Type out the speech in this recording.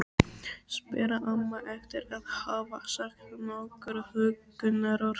spyr amma eftir að hafa sagt nokkur huggunarorð.